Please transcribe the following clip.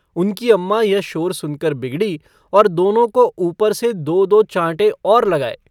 उनकी अम्माँ यह शोर सुनकर बिगड़ी और दोनों को ऊपर से दो-दो चाँटे और लगाए।